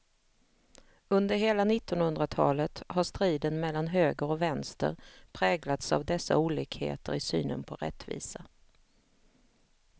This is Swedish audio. Under hela nittonhundratalet har striden mellan höger och vänster präglats av dessa olikheter i synen på rättvisa.